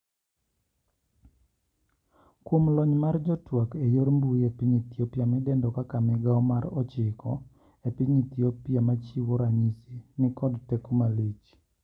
Kuom lony mar jotwak eyor mbui e piny Ethiopia midendo kaka Migao mar ochiko epiny Ethiopia machiwo ranyisi ni nikod teko malich.